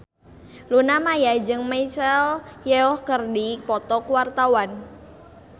Luna Maya jeung Michelle Yeoh keur dipoto ku wartawan